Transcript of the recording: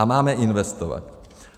A máme investovat.